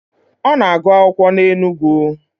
Ọ na-agụ akwụkwọ na Enugu.